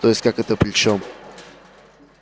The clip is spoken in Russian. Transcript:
то есть как это при чём